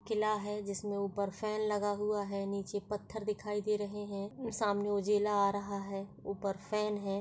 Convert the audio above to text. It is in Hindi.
किला है जिसमें ऊपर फैन लगा हुआ है नीचे पत्थर दिखाई दे रहे है सामने उजाला आ रहा है ऊपर फैन है।